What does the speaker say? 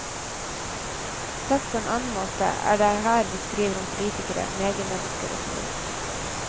Sagt på en annen måte er det her vi skriver om politikere, mediemennesker, osv.